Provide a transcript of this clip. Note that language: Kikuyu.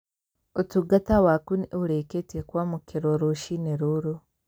Ũtungata waku nĩ ũrĩkĩtie kwamukirwo rũciinĩ rũrũ